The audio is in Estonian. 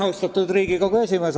Austatud Riigikogu esimees!